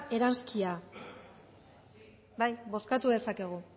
eranskina bozkatu dezakegu